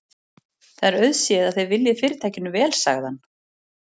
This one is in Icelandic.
Það er auðséð, að þið viljið Fyrirtækinu vel sagði hann.